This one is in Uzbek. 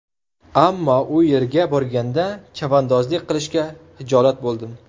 Ammo u yerga borganda, chavandozlik qilishga hijolat bo‘ldim.